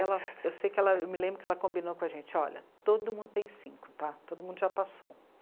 Ela, eu sei que ela, eu me lembro que ela combinou com a gente, olha, todo mundo tem cinco tá, todo mundo já passou.